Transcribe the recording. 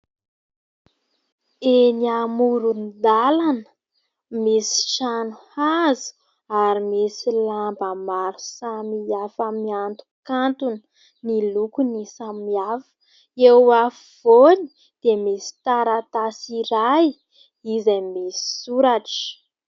Eny amoron-dalana, misy trano hazo ary misy lamba maro samihafa miantokantona, ny lokony samihafa. Eo afovoany dia misy taratasy iray izay misy soratra.